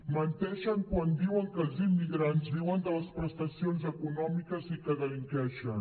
menteixen quan diuen que els immigrants viuen de les prestacions econòmiques i que delinqueixen